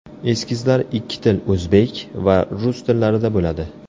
Eskizlar ikki til o‘zbek va rus tillarida bo‘ladi.